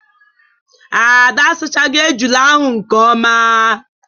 Ada asachagi ejula ahụ nke ọma.